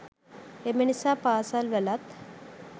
එම නිසා පාසල්වලත්